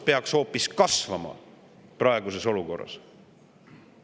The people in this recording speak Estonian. … peaks hoopis kasvama praeguses kriitilises olukorras.